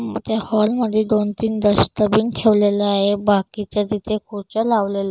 हम्म त्या हॉल मध्ये दोन तीन डस्टबिन ठेवलेलं आहे बाकीच्या तिथे खुर्च्या लावलेल --